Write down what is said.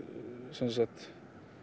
sem sagt